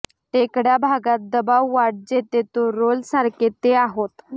टेकड्या भागात दबाव वाढ जेथे तो रोल सारखे ते आहोत